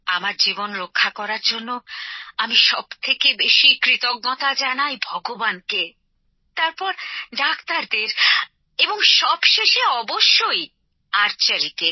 আমার জীবন রক্ষা করার জন্য আমি সবথেকে বেশি কৃতজ্ঞতা জানাই ভগবানকে তারপর ডাক্তারদের এবং সবশেষে অবশ্যই তীরন্দাজীকে